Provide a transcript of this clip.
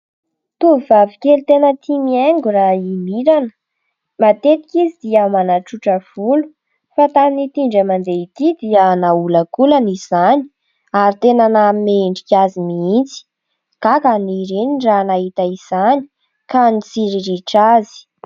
Tovovavy kely tena tia mihaingo raha i Mirana. Matetika izy dia manatsotra volo fa tamin'ity indray mandeha ity dia naolakolany izany ary tena nanome endrika azy mihitsy ; gaga ny reniny raha nahita izany ka nitsiriritra azy.